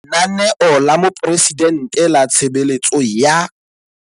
Lenaneo la Moporesidente la Tshebeletso ya.